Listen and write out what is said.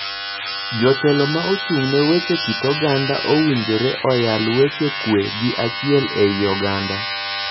Jotelo ma ochung' ne weche kit oganda oganda owinjore oyal weche kwe gi achiel ei oganda.